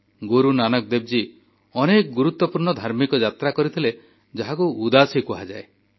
ଗୁରୁନାନକ ଦେବଜୀ ଅନେକ ଗୁରୁତ୍ୱପୂର୍ଣ୍ଣ ଧାର୍ମିକ ଯାତ୍ରା କରିଥିଲେ ଯାହାକୁ ଉଦାସୀ କୁହାଯାଏ